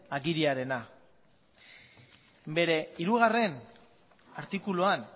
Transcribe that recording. agiria bere hirugarrena artikuluan